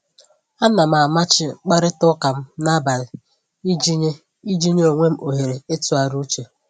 Ana m amachi mkparịta ụka m n'abalị iji nye iji nye onwe m ohere ịtụgharị uche